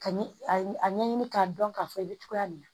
Ka ɲɛ a ɲɛɲini k'a dɔn k'a fɔ i bɛ togoya min na